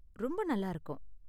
ரொம்ப நல்லா இருக்கும்.